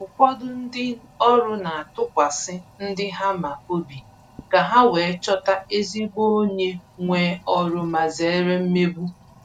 Ụfọdụ ndị ọrụ na-atụkwasị ndi ha ma obi ka ha wee chọta ezigbo onye nwe oru ma zere mmegbu